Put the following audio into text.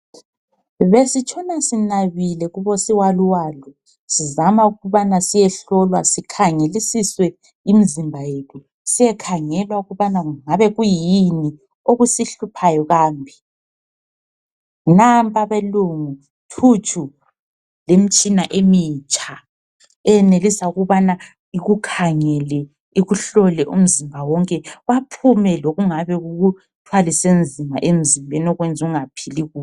Besitshona sinabile kubosiwaluwalu sizama ukubana siyehlolwa sikhangelisiswe imizimba yethu. Siyekhangelwa ukubana kungabe kuyini okusihluphayo kambe. Nampa abelungu thutshu lemitshina emitsha eyenelisa ukubana ikukhangele ikuhlole umzimba wonke baphume lokungabe kukuthwalise nzima emzimbeni okuyenzungaphili kuhle.